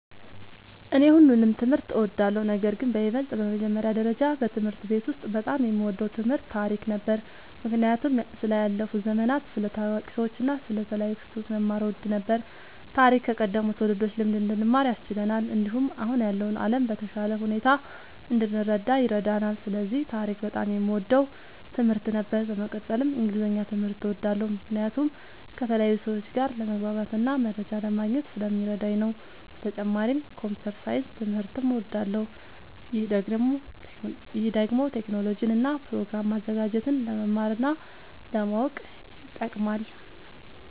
እኔ ሁሉንም ትምህርት እወዳለሁ፤ ነገርግን በይበልጥ በመጀመሪያ ደረጃ በትምህርት ቤት ውስጥ በጣም የምወደው ትምህርት ታሪክ ነበር። ምክንያቱም ስለ ያለፉ ዘመናት፣ ስለ ታዋቂ ሰዎች እና ስለ ተለያዩ ክስተቶች መማር እወድ ነበር። ታሪክ ከቀደሙት ትውልዶች ልምድ እንድንማር ያስችለናል፣ እንዲሁም አሁን ያለውን ዓለም በተሻለ ሁኔታ እንድንረዳ ይረዳናል። ስለዚህ ታሪክ በጣም የምወደው ትምህርት ነበር። በመቀጠልም እንግሊዝኛ ትምህርት እወዳለሁ ምክንያቱም ከተለያዩ ሰዎች ጋር ለመግባባትና መረጃ ለማግኘት ስለሚረዳኝ ነዉ። በተጨማሪም ኮምፒዉተር ሳይንስ ትምህርትም እወዳለሁ። ይህ ደግሞ ቴክኖሎጂን እና ፕሮግራም ማዘጋጀትን ለመማር እና ለማወቅ ይጠቅማል።